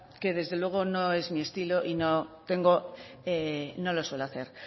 que desde luego no es mi estilo y no tengo no lo suelo hacer